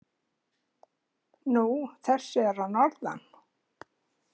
Nú, þessir að norðan.